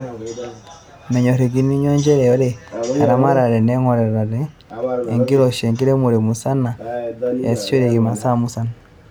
Menyorokinoyu njere ore eramatare neingorita tenkiroshi enkiremore musana e asishoreki masaa musan.